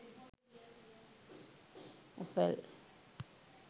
apple